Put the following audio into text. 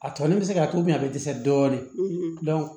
A tɔɲɔgɔnin bɛ se k'a to bi a bɛ dɛsɛ dɔɔnin